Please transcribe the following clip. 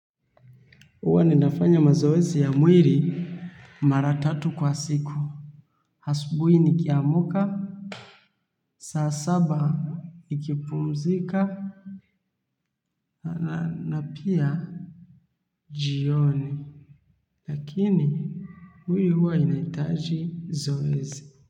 Uwa ninafanya mazoezi ya mwili maratatu kwa siku. Hasubui nikiamka, saa saba nikipumzika na pia jioni. Lakini mwili huwa inaitaji zoezi.